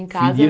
Em casa?